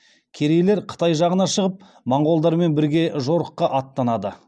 керейлер қытай жағына шығып монғолдармен бірге жорыққа аттанады